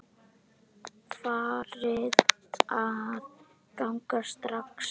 Farin að ganga strax!